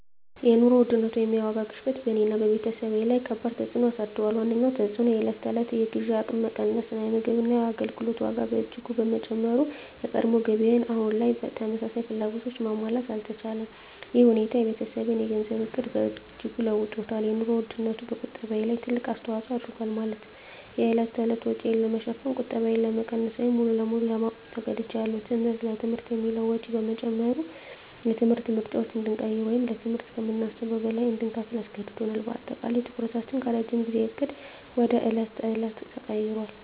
የኑሮ ውድነት (የዋጋ ግሽበት) በእኔና በቤተሰቤ ላይ ከባድ ተፅዕኖ አሳድሯል። ዋነኛው ተፅዕኖ የዕለት ተዕለት የግዢ አቅሜ መቀነስ ነው። የምግብና የአገልግሎት ዋጋ በእጅጉ በመጨመሩ፣ የቀድሞ ገቢዬ አሁን ተመሳሳይ ፍላጎቶችን ማሟላት አልቻለም። ይህ ሁኔታ የቤተሰቤን የገንዘብ ዕቅድ በእጅጉ ለውጦታል - የኑሮ ውድነቱ በቁጠባዬ ላይ ትልቅ አስተዋጽኦ አድርጓል፤ ማለትም የዕለት ተዕለት ወጪን ለመሸፈን ቁጠባዬን ለመቀነስ ወይም ሙሉ በሙሉ ለማቆም ተገድጃለሁ። ትምህርት: ለትምህርት የሚውለው ወጪ በመጨመሩ፣ የትምህርት ምርጫዎችን እንድንቀይር ወይም ለትምህርት ከምናስበው በላይ እንድንከፍል አስገድዶናል። በአጠቃላይ፣ ትኩረታችን ከረጅም ጊዜ ዕቅድ ወደ የዕለት ተዕለት ተቀይሯል።